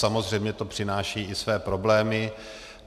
Samozřejmě to přináší i své problémy.